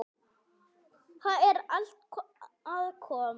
Það er allt að koma.